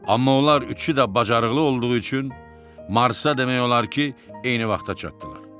Amma onlar üçü də bacarıqlı olduğu üçün Marsa demək olar ki, eyni vaxta çatdılar.